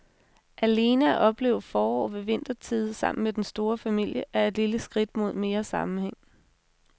Alene at opleve forår ved vintertide sammen med den store familie er et lille skridt mod mere sammenhæng.